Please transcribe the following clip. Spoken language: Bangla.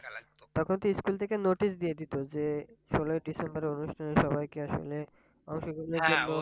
তখন তো ইস্কুল থেকে notice দিয়ে দিত যে ষোলই december সবাইকে আসলে অংশ গ্রহনের